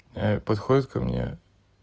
подходит ко мне